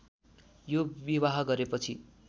यो विवाह गरेपछि